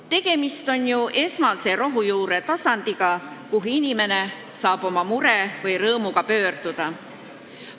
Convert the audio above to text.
Tegemist on ju esmase rohujuuretasandiga, kuhu inimene saab oma mure või rõõmuga pöörduda.